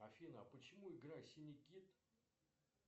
афина почему игра синий кит